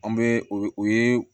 An bɛ o ye